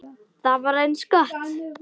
Það var eins gott!